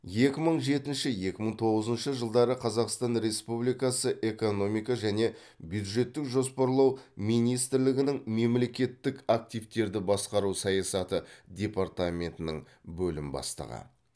екі мың жетінші екі мың тоғызыншы жылдары қазақстан республикасы экономика және бюджеттік жоспарлау министрлігінің мемлекеттік активтерді басқару саясаты департаментінің бөлім бастығы